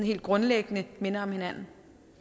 helt grundlæggende minder om hinanden